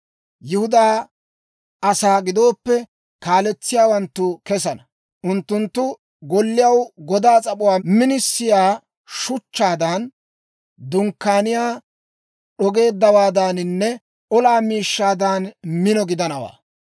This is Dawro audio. Yihudaa asaa giddoppe kaaletsiyaawanttu kesana; unttunttu golliyaw godaa s'ap'uwaa minisiyaa shuchchaadan, dunkkaaniyaa d'ogeeddawaadaaninne olaa miishshaadan mino gidanawaa.